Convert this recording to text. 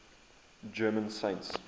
german saints